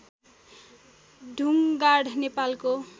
ढुङ्गाड नेपालको